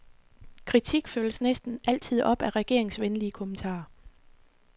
Kritik følges næsten altid op af regeringsvenlige kommentarer.